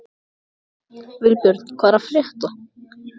Vilbjörn, hvað er að frétta?